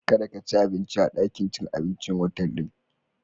kar ka ci abinci a dakin cin abincin otal din.